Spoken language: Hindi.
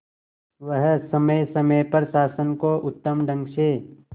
वह समय समय पर शासन को उत्तम ढंग से